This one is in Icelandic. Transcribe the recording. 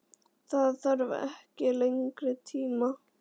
Það þarf ekki lengri tíma til?